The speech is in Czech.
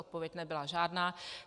Odpověď nebyla žádná.